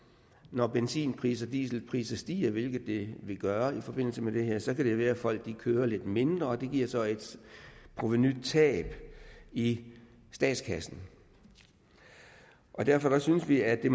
når benzinpriser dieselpriser stiger hvilket de vil gøre i forbindelse med det her så kan det være at folk kører lidt mindre og det giver så et provenutab i statskassen derfor synes vi at det